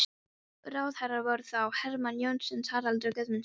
Ráðherrar voru þá: Hermann Jónasson, Haraldur Guðmundsson og